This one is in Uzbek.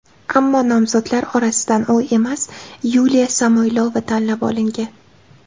Ammo nomzodlar orasidan u emas, Yuliya Samoylova tanlab olingan.